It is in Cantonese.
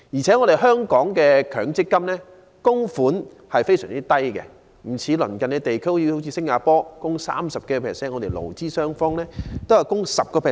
此外，香港的強積金供款額非常低，有別於鄰近地區，其供款額是工資的 30%， 我們勞資雙方合共供款 10%。